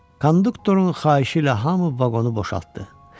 Konduktorun xahişi ilə hamı vaqonu boşaltdı.